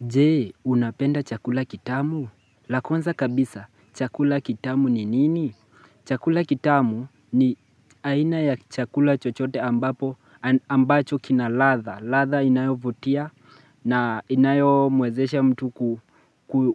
Je, unapenda chakula kitamu? La kwanza kabisa, chakula kitamu ni nini? Chakula kitamu ni aina ya chakula chochote ambapo ambacho kina ladha. Latha inayovutia na inayomwezesha mtu